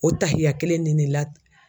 O tahiya kelen ni ne la